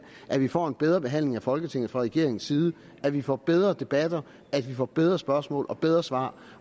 at vi får en bedre behandling af folketinget fra regeringens side at vi får bedre debatter at vi får bedre spørgsmål og bedre svar